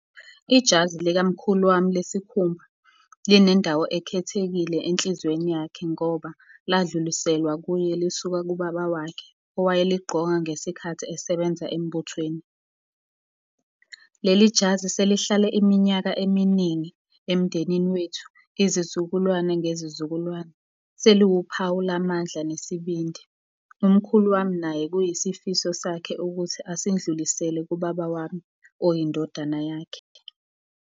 Ijazi likamkhulu wami lesikhumba, linendawo ekhethekile enhlizweni yakhe ngoba ladluliselwa kuye lisuka kubaba wakhe owayeligqoka ngesikhathi esebenza embuthweni. Leli jazi selihlale iminyaka eminingi emndenini wethu, izizukulwane ngezizukulwane. Seliwuphawu lamandla nesibindi. Umkhulu wami naye kuyisifiso sakhe ukuthi asindlulisele kubaba wami oyindodana yakhe.